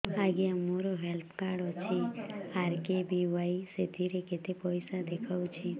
ଆଜ୍ଞା ମୋର health card ଅଛି ଆର୍.କେ.ବି.ୱାଇ ସେଥିରେ କେତେ ପଇସା ଦେଖଉଛି